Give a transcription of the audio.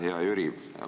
Hea Jüri!